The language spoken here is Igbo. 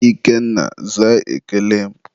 Ikenna, zaa ekele m!